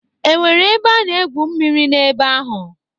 E nwere ebe a na-egwu mmiri na-ebe ahụ?